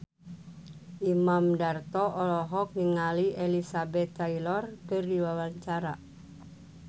Imam Darto olohok ningali Elizabeth Taylor keur diwawancara